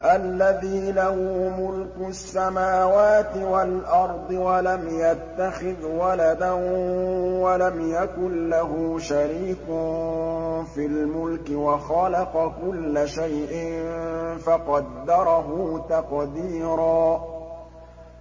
الَّذِي لَهُ مُلْكُ السَّمَاوَاتِ وَالْأَرْضِ وَلَمْ يَتَّخِذْ وَلَدًا وَلَمْ يَكُن لَّهُ شَرِيكٌ فِي الْمُلْكِ وَخَلَقَ كُلَّ شَيْءٍ فَقَدَّرَهُ تَقْدِيرًا